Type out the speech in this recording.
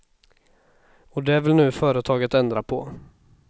Och det vill nu företaget ändra på.